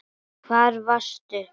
Hvar varstu?